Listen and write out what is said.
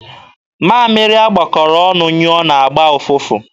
Mamịrị a gbakọrọ ọnụ nyụọ na-agba ụfụfụ.